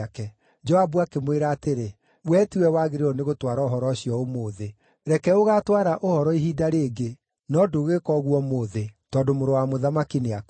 Joabu akĩmwĩra atĩrĩ, “Wee tiwe wagĩrĩirwo nĩ gũtwara ũhoro ũcio ũmũthĩ. Reke ũgaatwara ũhoro ihinda rĩngĩ, no ndũgwĩka ũguo ũmũthĩ, tondũ mũrũ wa mũthamaki nĩakuĩte.”